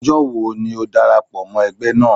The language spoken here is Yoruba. Ọjọ́ wo ni o darapọ̀ mọ́ ẹgbẹ́ naa?